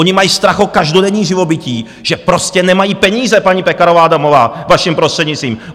Oni mají strach o každodenní živobytí, že prostě nemají peníze, paní Pekarová Adamová, vaším prostřednictvím.